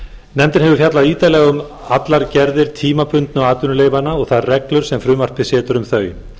nefndin hefur fjallað ítarlega um allar gerðir tímabundnu atvinnuleyfanna og þær reglur sem frumvarpið setur um þau